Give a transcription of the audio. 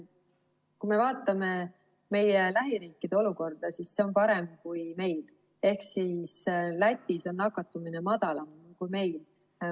Kui me vaatame meie lähiriikide olukorda, siis see on parem kui meil ehk Lätis on nakatumine madalam kui meil.